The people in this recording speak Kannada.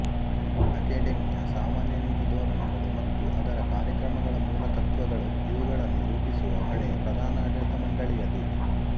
ಅಕೆಡಮಿಯ ಸಾಮಾನ್ಯ ನೀತಿ ಧೋರಣೆಗಳು ಮತ್ತು ಅದರ ಕಾರ್ಯಕ್ರಮಗಳ ಮೂಲ ತತ್ವ್ತಗಳು ಇವುಗಳನ್ನು ರೂಪಿಸುವ ಹೊಣೆ ಪ್ರಧಾನಾಡಳಿತಮಂಡಲಿಯದು